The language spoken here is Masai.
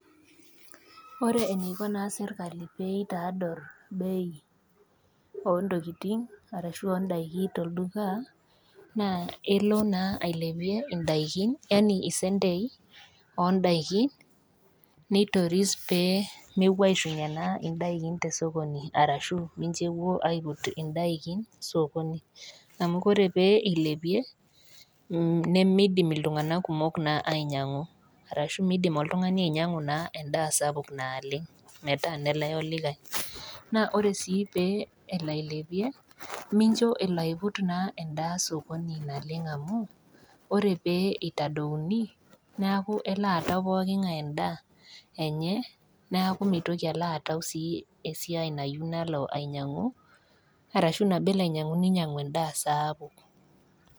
Ore eneiko naa sirkali peitaadorr ontokiting arashu ondaiki tolduka naa elo naa ailepie indaikin yani isentei ondaikin neitoris pee mepuo aishunye naa indaikin tesokoni ashu mincho epuo aiput indaikin sokoni amu kore pee eilepie mh nemeidim iltung'anak kumok naa ainyiang'u arashu miidim oltung'ani ainyiang'u naa endaa sapuk naleng metaa nelae olikae naa ore sii peelo ailepie mincho elo aiput na endaa sokoni naleng amu ore pee eitadouni naku elo aata poking'ae enda enye naaku mitoki alo atau sii esiai nayieu nalo ainyiang'u arashu nabo elo ainyiang'u ninyiang'u endaa sapuk.